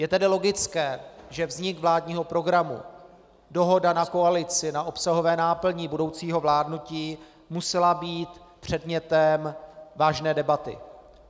Je tedy logické, že vznik vládního programu, dohoda na koalici, na obsahové náplni budoucího vládnutí musely být předmětem vážné debaty.